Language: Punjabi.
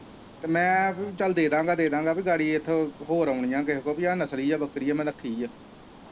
ਤੇ ਮੈਂ ਚੱਲ ਦੇਦਾਂਗਾ ਦੇਦਾਂਗਾ ਗਾੜੀ ਇੱਕ ਹੋਰ ਆਉਣੀ ਆ, ਕਿਸੇ ਹੋਰ ਕੋਲ ਆਉਣੀ ਆ ਨਸਲੀ ਆ ਬੱਕਰੀ ਆ ਮੈਂ ਰੱਖੀ ਏ।